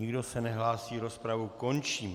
Nikdo se nehlásí, rozpravu končím.